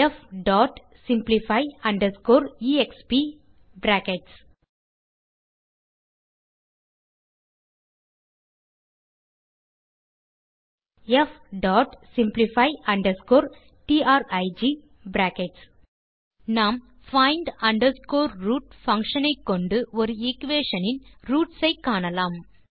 fsimplify exp fsimplify trig நாம் find root function ஐ கொண்டு ஒரு எக்வேஷன் ன் ரூட்ஸ் ஐ காணலாம்